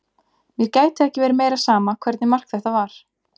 Mér gæti ekki verið meira sama hvernig mark þetta var.